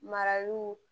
Mara y'u